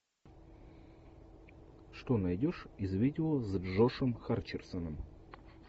что найдешь из видео с джошем хатчерсоном